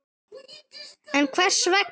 En Hvers vegna?